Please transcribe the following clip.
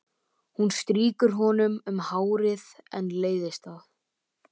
Hún strýkur honum um hárið en leiðist það.